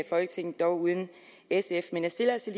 folketinget dog uden sf men jeg stiller altså